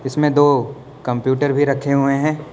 इसमें दो कंप्यूटर भी रखे हुए हैं।